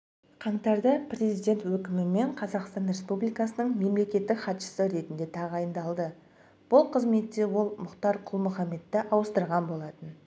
жж қаңтардапрезидент өкімімен қазақстан республикасының мемлекеттік хатшысы ретінде тағайындалды бұл қызметте ол мұхтар құл-мұхамедті ауыстырған болатын